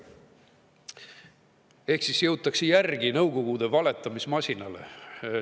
Ehk siis jõutakse järgi Nõukogude valetamismasinale.